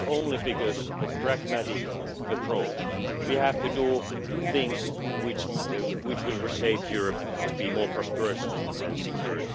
And this is only because of a pragmatic approach we have to do things which will reshape Europe to be more prosperous and secure.